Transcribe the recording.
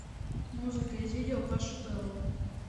музыка из видео паши пэла